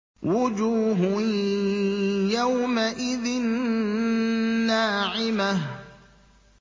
وُجُوهٌ يَوْمَئِذٍ نَّاعِمَةٌ